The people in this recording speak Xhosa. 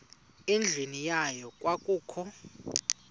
endlwini yayo kwakukho